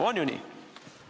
On ju nii?